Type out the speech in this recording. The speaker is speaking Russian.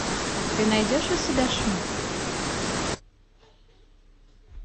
ты найдешь у себя шум